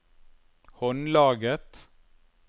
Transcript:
håndlaget